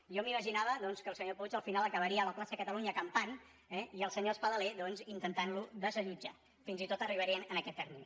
jo m’imaginava doncs que el senyor puig al final acabaria a la plaça catalunya acampant i el senyor espadaler doncs intentant lo desallotjar que fins i tot arribarien a aquest terme